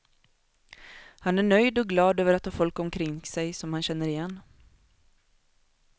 Han är nöjd och glad över att ha folk omkring sig som han känner igen.